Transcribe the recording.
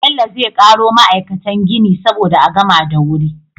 Bello zai karo ma'aikatan gini saboda a gama da wuri